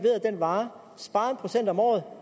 vare at spare en procent om året